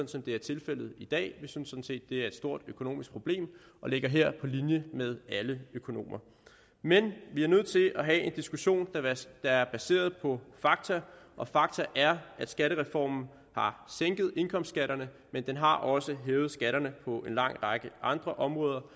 som det er tilfældet i dag vi synes sådan set det er et stort økonomisk problem og ligger her på linje med alle økonomer men vi er nødt til at have en diskussion der er baseret på fakta og fakta er at skattereformen har sænket indkomstskatterne men den har også hævet skatterne på en lang række andre områder